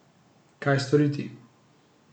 Kaj storiti?